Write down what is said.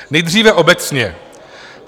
Nejdříve obecně.